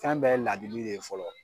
Kan bɛɛ ye ladili de ye fɔlɔ.